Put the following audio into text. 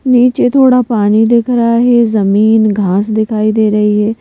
नीचे थोड़ा पानी दिख रहा है ये जमीन घास दिखाई दे रही है।